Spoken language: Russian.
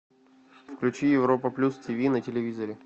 включи европа плюс тиви на телевизоре